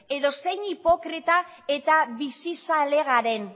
edo zein hipokrita eta bizizale garen